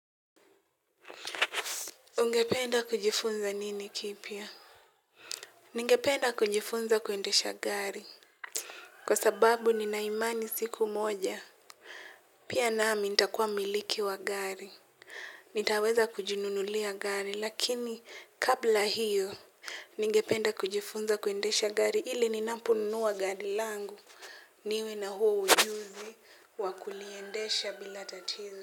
Ungependa kujifunza nini kipya? Ningependa kujifunza kuendesha gari. Kwa sababu nina imani siku moja. Pia nami nitakuwa mmiliki wa gari. Nitaweza kujinunulia gari lakini kabla hiyo. Ningependa kujifunza kuendesha gari ili ninapo nunua gari langu niwe na huo ujuzi wakuliendesha bila tatizo.